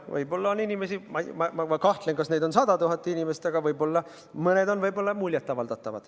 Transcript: Võib-olla on inimesi – ma kahtlen, et neid on 100 000 inimest –, kellele see võib muljet avaldada.